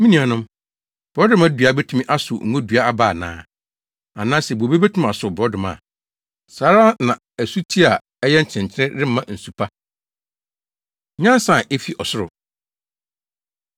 Me nuanom, borɔdɔma dua betumi asow ngodua aba ana? Anaasɛ bobe betumi asow borɔdɔma? Saa ara na asuti a ɛyɛ nkyenenkyene remma nsu pa. Nyansa A Efi Ɔsoro